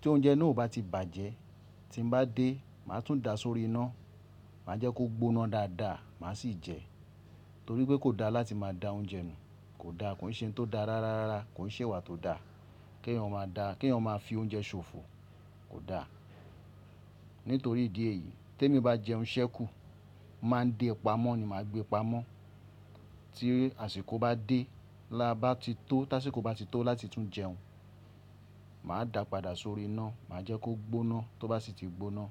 Tí oúnjẹ náà ò bá ti bàjẹ́, tín bá dé, màá tún da sórí iná, màá jẹ́ kó gboná dáadáa, màá sì jẹ. Nítorí pé kò dáa láti máa da oúnjẹ nù, kò dáa, kò ń ṣe ń tó dáa rárárara, kò ń ṣe ìwà tó dá. Kí ẹ̀yàn máa da, kí èyàn máa fi oúnjẹ ṣòfò, kò dáa. Nítorí ìdí èyí, tèmi bá jẹun sẹ́kù, máà ń dé pamọ́ ni, máa gbé pamọ́ tí àsìkò bá dé, la bá ti tó, tá àṣíko bá ti tó láti tún jẹun, màá dà padà sórí iná, màá jẹ́ kó gboná tó bá sì ti gboná.